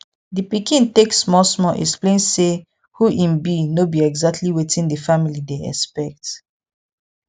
di pikin take small small explain say who im be no be exactly wetin di family dey expect